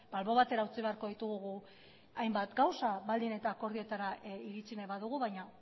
albo batera utzi beharko ditugu hainbat gauza baldin eta akordioetara iritsi nahi badugu baina